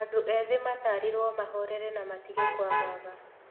Andũ ethi matarirwo mahorere na matige kũagaga